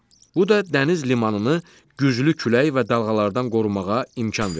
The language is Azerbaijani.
Bu da dəniz limanını güclü külək və dalğalardan qorumağa imkan verir.